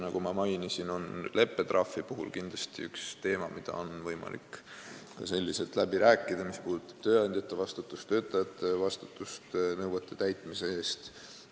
Nagu ma mainisin, on leppetrahv kindlasti üks teema, mille üle on võimalik läbi rääkida, mis puudutab tööandjate ja töötajate vastutust nõuete täitmise eest.